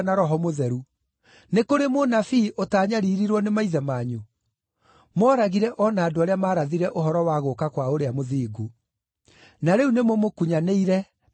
Nĩ kũrĩ mũnabii ũtaanyariirirwo nĩ maithe manyu? Mooragire o na andũ arĩa maarathire ũhoro wa gũũka kwa Ũrĩa Mũthingu. Na rĩu nĩmũmũkunyanĩire na mũkamũũraga;